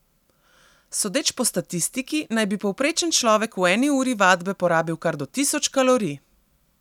Sodeč po statistiki naj bi povprečen človek v eni uri vadbe porabil kar do tisoč kalorij.